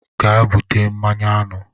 Gaa bute mmanụ aṅụ